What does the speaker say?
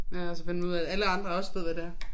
Ja og så finder man ud af alle andre også ved hvad det er